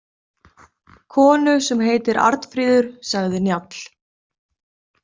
Konu sem heitir Arnfríður, sagði Njáll.